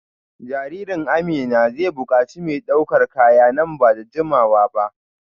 Jaririn Amina zai bukaci mai daukar kaya nan ba da jimawa ba